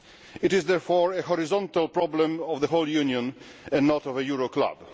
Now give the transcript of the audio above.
It is therefore a horizontal problem of the whole Union and not of a euro club.